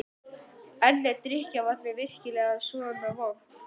En er drykkjarvatnið virkilega svona vont?